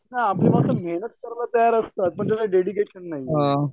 हा आपली माणसं मेहनत कराय तैयार असतात पण त्याला डेडिकेशन नाही